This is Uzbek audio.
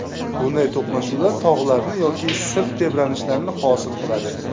Bunday to‘qnashuvlar tog‘larni yoki sirt tebranishlarini hosil qiladi.